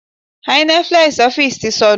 Hynetflex ọ́fíìsì ti sọnù.